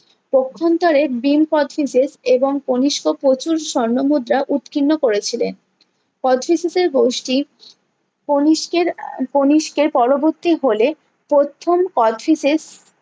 কখুনতরে ভীম কোচটিসেস এবং কনিস্ক প্রচুর স্বর্ণ মুদ্রা উৎকীর্ণ করেছিলেন কোচটিসেস এর গোষ্ঠী কণিষ্কের কণিষ্কের পরবর্তী হলে প্রথম কোচটিসেস